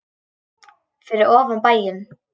Fyrir ofan bæinn.